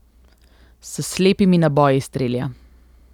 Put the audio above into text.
S slepimi naboji strelja.